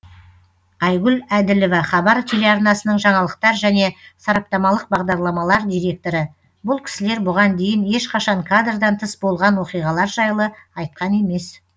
айгүл әділова хабар телеарнасының жаңалықтар және сараптамалық бағдарламалар директоры бұл кісілер бұған дейін ешқашан кадрдан тыс болған оқиғалар жайлы айтқан емес